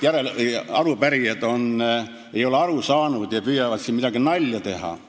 Väideti, et arupärijad ei ole asjast aru saanud ja püüavad siin mingit nalja teha.